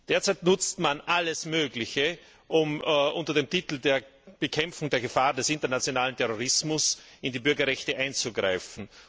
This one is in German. Derzeit nutzt man alles Mögliche, um unter dem Titel der Bekämpfung der Gefahr des internationalen Terrorismus in die Bürgerrechte einzugreifen.